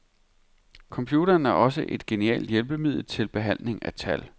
Computeren er også et genialt hjælpemiddel til behandling af tal.